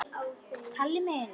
Kalli minn!